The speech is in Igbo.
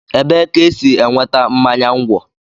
Ebee ka e si enweta mmanya ńgwọ?